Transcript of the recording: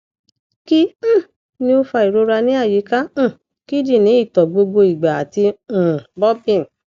kí um ni o fa ìrora ní ayíka um kídínì ito gbogbo igba ati um burping